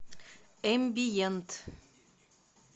эмбиент